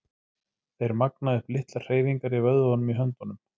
Þeir magna upp litlar hreyfingar í vöðvunum í höndunum.